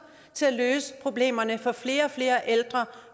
til at løse problemerne for flere og flere ældre